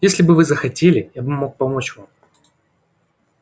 если бы вы захотели я мог бы помочь вам